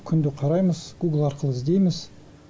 күнде қараймыз гугл арқылы іздейміз